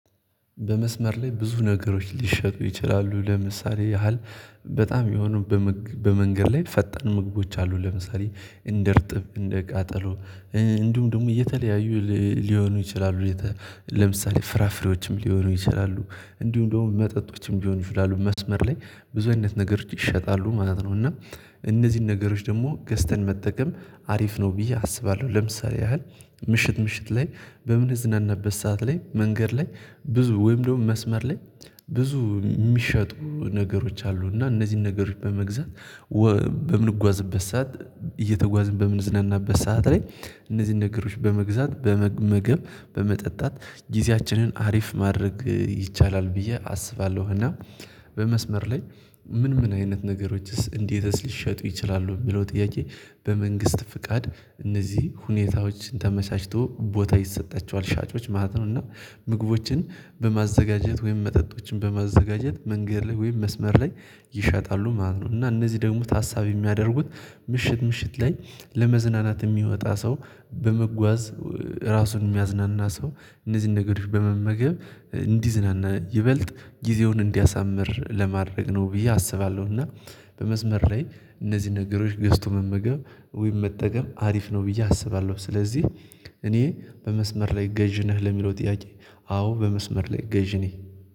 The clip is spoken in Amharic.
በመስመር ላይ ብዙ ነገሮች ሊሸጡ ይችላሉ ለምሳሌ ያህል በጣም የሆኑ በመንገድ ላይ ፈጠን ምግቦች አሉ ለምሳሌ እንደ እርጥብ እንደ ቃጠሎ እንዲሁም ደግሞ እየተለያዩ ሊሆኑ ይችላሉ። ለምሳሌ ፍራፍሬዎችም ሊሆኑ ይችላሉ እንዲሁም እንደውም መጠጦችም ቢሆኑ ይችላሉ መስመር ላይ ብዙ አይነት ነገር ይሸጣሉ ማለት ነው። እና እነዚህን ነገሮች ደግሞ ገዝተን መጠቀም አሪፍ ነው ብዬ አስባለሁ። ለምሳሌ ያህል ምሽት ምሽት ላይ በምንዝናንበት ሰዓት ላይ መንገድ ላይ ብዙ ወይም ደግሞ መስመር ላይ ብዙ የሚሸጡ ነገሮች አሉ እና እነዚህን ነገሮች በመግዛት በምንጓዝበት ሰዓት እየተጓዝን በምንዝናናበት ሰዓት ላይ እነዚህን ነገሮች በመግዛት በመመገብ በመጠጣት ጊዜያችንን አሪፍ ማድረግ ይቻላል ብዬ አስባለሁ። እና በመስመር ላይ ምን ምን አይነት ነገሮችስ እንዴትስ ሊሸጡ ይችላሉ የሚለው ጥያቄ? በመንግስት ፍቃድ እነዚህ ሁኔታዎችን ተመቻችቶ ቦታ ይሰጣቸዋል ሻጮች ማለት ነው። እና ምግቦችን በማዘጋጀት ወይም መጠጦችን በማዘጋጀት መንገድ ላይ ወይም መስመር ላይ ይሸጣሉ ማለት ነው። እና እነዚህ ደግሞ ታሳቢ የሚያደርጉት ምሽት ምሽት ላይ ለመዝናናት የሚወጣ ሰው በመጓዝ ራሱን የሚያዝናና ሰው እነዚህን ነገሮች በመመገብ እንዲዝናና ይበልጥ ጊዜውን እንዲያሳምር ለማድረግ ነው ብዬ አስባለሁ። እና በመስመር ላይ እነዚህ ነገሮች ገዝቶ መመገብ ወይም መጠቀም አሪፍ ነው ብዬ አስባለሁ። ስለዚህ እኔ በመስመር ላይ ገዢ ነህ ለሚለው ጥያቄ? አዎ በመስመር ላይ ገዢ ነህ